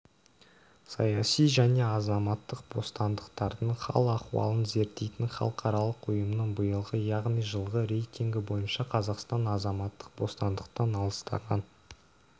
саяси және азаматтық бостандықтардың хал-ахуалын зерттейтін халықаралық ұйымының биылғы яғни жылғы рейтингі бойынша қазақстан азаматтық бостандықтан алыстаған